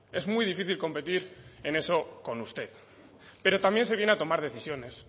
es muy difícil competir en eso con usted pero también se viene a tomar decisiones